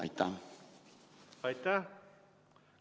Aitäh!